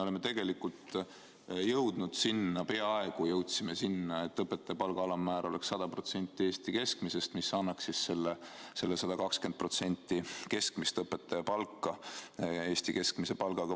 Me peaaegu jõudsime sinnamaani, et õpetajate palga alammäär oleks 100% Eesti keskmisest palgast ja selle tulemusena õpetajate keskmine palk 120% Eesti keskmisest palgast.